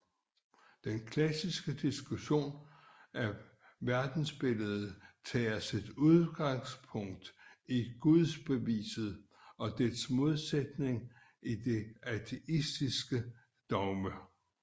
Den klassiske diskussion af verdensbilledet tager sit udgangspunkt i Gudsbeviset og dets modsætning det ateistiske dogme